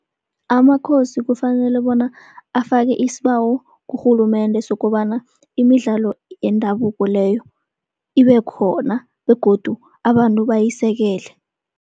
AmaKhosi kufanele bona afake isibawo kurhulumende sokobana, imidlalo yendabuko leyo ibe khona begodu abantu bayisekele.